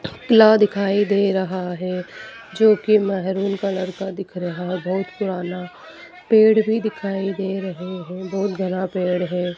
किला दिखाई दे रहा है जोकि मेहरून कलर का दिख रहा बहोत पुराना पेड़ भी दिखाई दे रहे हैं बहोत घना पेड़ है।